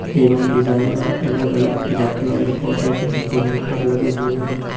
एवं डिजाइन दार अलग अलग प्रजाति वाले पौधे भी जमीन पर लगे हुए हैं।